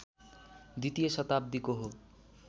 द्वितीय शताब्दीको हो